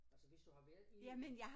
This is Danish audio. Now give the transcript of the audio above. Altså hvis du har været inde i den